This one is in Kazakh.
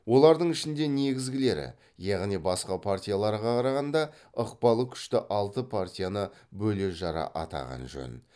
олардың ішінде негізгілері яғни басқа партияларға қарағанда ықпалы күшті алты партияны бөле жара атаған жөн